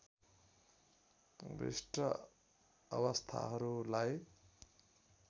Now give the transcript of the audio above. विशिष्ट अवस्थाहरूलाई